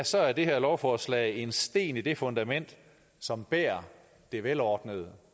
så er det her lovforslag en sten i det fundament som bærer det velordnede